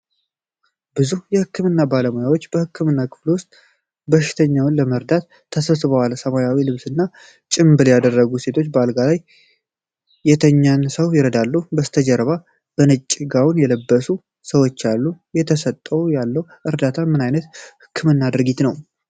ብዙ የህክምና ባለሙያዎች በህክምና ክፍል ውስጥ በሽተኛውን ለመርዳት ተሰብስበዋል። ሰማያዊ ልብስና ጭንብል ያደረጉ ሴቶች አልጋ ላይ የተኛን ሰው ይረዳሉ። ከበስተጀርባ በነጭ ጋውን የለበሱ ሰዎች አሉ። እየተሰጠ ያለው እርዳታ ምን አይነት የህክምና ድርጊት ነው?